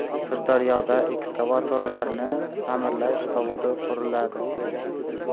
Sirdaryoda ekskavatorlarni ta’mirlash zavodi quriladi.